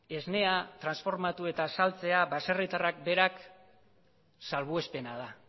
esnea transformatu eta saltzea baserritarrak berak salbuespena da